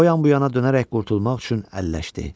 O yan-bu yana dönərək qurtulmaq üçün əlləşdi.